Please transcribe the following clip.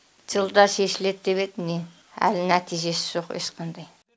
жылда шешіледі деп еді міне әлі нәтижесі жоқ ешқандай